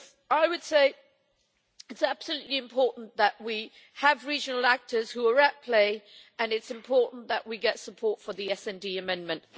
I would say it is crucially important that we have regional actors who are at play, and it is important that we get support for the SD amendment.